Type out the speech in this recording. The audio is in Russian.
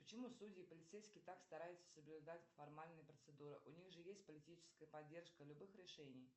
почему судьи и полицейские так стараются соблюдать формальные процедуры у них же есть политическая поддержка любых решений